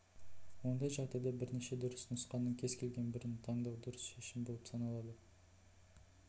ондай жағдайда бірнеше дұрыс нұсқаның кез келген бірін таңдау дұрыс шешім болып саналады